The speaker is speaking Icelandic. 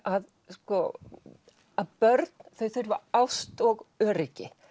að börn þau þurfa ást og öryggi